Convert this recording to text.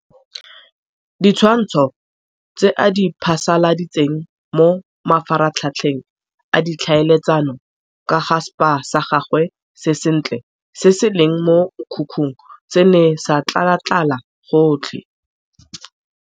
Ditshwantsho tse a di phasaladitseng mo mafaratlhatlheng a ditlhaeletsano ka ga spa sa gagwe se sentle se se leng mo mokhukhung se ne sa tlalatlala gotlhe.